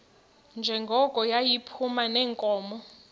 njengoko yayiphuma neenkomo